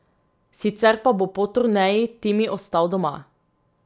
Sicer pa bo po turneji Timi ostal doma.